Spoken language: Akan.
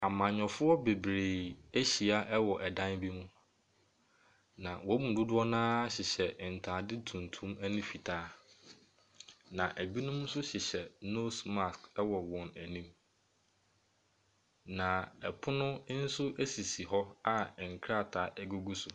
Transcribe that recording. Amanyɔfoɔ bebree ahyia wɔ dan bi mu. Na wɔn mu dodoɔ no ara hyehyɛ ntaade tuntun ne fitaa. Na ebinom nso hyehyɛ nose mask wɔ wɔn anim. Na pono nso si hɔ a nkrataa gugu so.